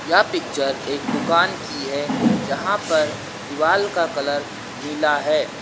यह पिक्चर एक दुकान की है जहां पर दीवाल का कलर नीला है।